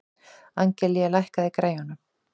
Angelía, lækkaðu í græjunum.